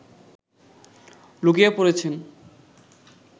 লুকিয়ে পড়েছেন